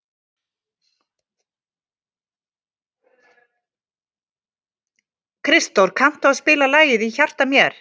Kristdór, kanntu að spila lagið „Í hjarta mér“?